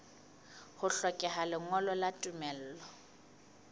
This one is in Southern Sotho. ho hlokeha lengolo la tumello